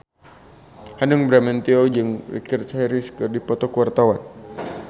Hanung Bramantyo jeung Richard Harris keur dipoto ku wartawan